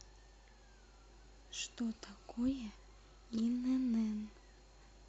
что такое инн